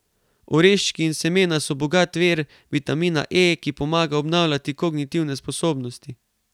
Oreščki in semena so bogat vir vitamina E, ki pomaga obnavljati kognitivne sposobnosti.